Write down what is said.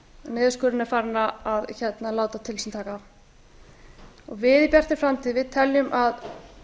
niðurskurðurinn er farinn að láta til sín taka við í bjartri framtíð teljum að